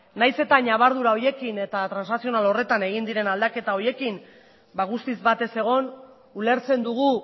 nahiz eta ñabardura horiekin eta transazional horretan egin diren aldaketa horiekin ba guztiz batez egon ulertzen dugu